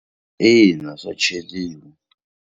Ina swa cheriwa.